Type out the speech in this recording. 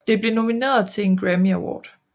Det blev nomineret til en Grammy Award